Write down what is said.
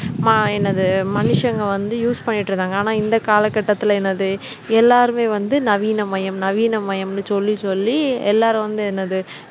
மா என்னது மனுஷங்க வந்து use பண்ணிட்டிருந்தாங்க ஆனால் இந்த காலகட்டத்தில என்னது எல்லாருமே வந்து நவீனமயம் நவீனமயம்னு சொல்லி சொல்லி எல்லாரும் வந்து என்னது